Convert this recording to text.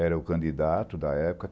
Era o candidato da época.